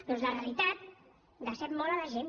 doncs la realitat decep molt la gent